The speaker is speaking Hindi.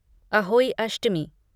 अहोई अष्टमी